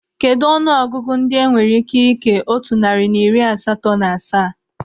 Kedụ ọnụ ọgụgụ ndị enwere ị́ké ị́kè otu narị na iri asatọ na asaa?